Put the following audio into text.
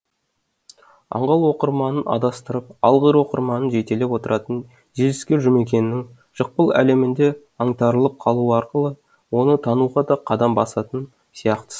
аңғал оқырманын адастырып алғыр оқырманын жетелеп отыратын желіскер жұмекеннің жықпыл әлемінде аңтарылып қалу арқылы оны тануға да қадам басатын сияқтысың